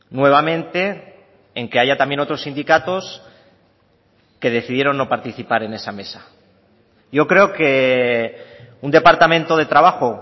nuevamente en que haya también otros sindicatos que decidieron no participar en esa mesa yo creo que un departamento de trabajo